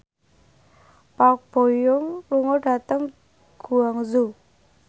Park Bo Yung lunga dhateng Guangzhou